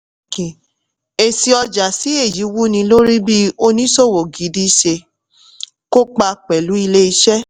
èsì ọjà sí èyí wúni lórí bí oníṣòwò gidi ṣe kópa pẹ̀lú ilé-iṣẹ́.